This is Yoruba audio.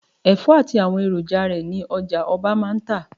Ẹ̀fọ́ àti àwọn èròjà rẹ ni ọjà-ọba máa ń tà.